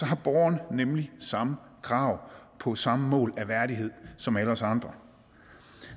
har borgeren nemlig samme krav på samme mål af værdighed som alle os andre